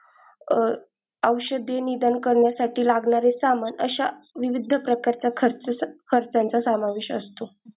अह औषध निदान करण्यसाठी लागणारे समान अशा विविद प्रकारचा खर्चाचा सामावेष असतो